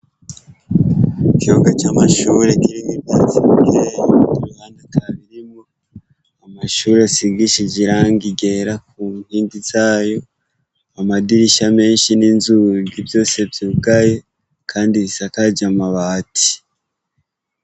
ikibuga c'amashure kirimwo ivyatsi bikeyi iruhande ata birimwo, amashure asigishije irangi ryera ku nkingi zayo, amadirisha menshi n'inzugi vyose vyugaye, kandi bisakaje amabati.